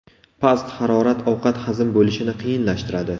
Past harorat ovqat hazm bo‘lishini qiyinlashtiradi.